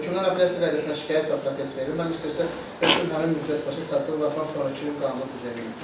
Hökmün apellyasiya qaydasında şikayət və protest verilməmişdirsə, hökm həmin müddət başa çatdığı vaxtdan sonrakı qanunu qüvvəyə minir.